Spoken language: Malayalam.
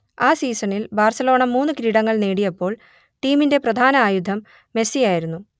ആ സീസണിൽ ബാർസലോണ മൂന്ന് കിരീടങ്ങൾ നേടിയപ്പോൾ ടീമിന്റെ പ്രധാന ആയുധം മെസ്സി ആയിരുന്നു